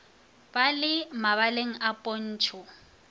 ba le mabaleng a pontšho